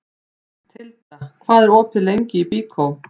Tildra, hvað er opið lengi í Byko?